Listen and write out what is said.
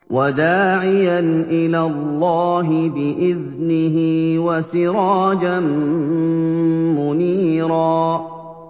وَدَاعِيًا إِلَى اللَّهِ بِإِذْنِهِ وَسِرَاجًا مُّنِيرًا